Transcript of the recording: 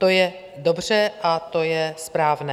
To je dobře a to je správné.